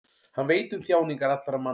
hann veit um þjáningar allra manna